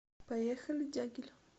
поехали дягиль